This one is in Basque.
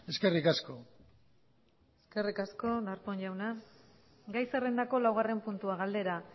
eskerrik asko eskerrik asko darpón jauna gai zerrendako laugarren puntua galdera